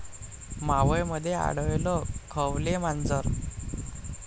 मावळमध्ये आढळलं खवले मांजर